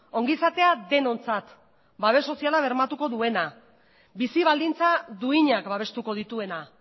ongizatea denontzat babes soziala bermatuko duena bizi baldintza duinak babestuko dituena